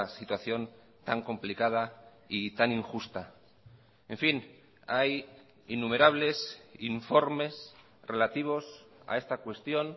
situación tan complicada y tan injusta en fin hay innumerables informes relativos a esta cuestión